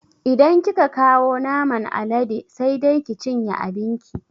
Idan kika kawo naman alade sai dai ki cinye abin ki